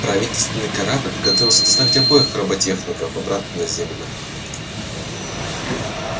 правительственный корабль готовился доставить обоих роботехников обратно на землю